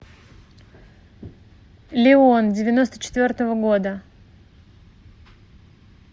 леон девяносто четвертого года